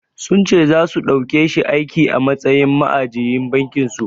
Sun ce zasu ɗaukeshi aiki a matsayin ma'ajiyin bankin su.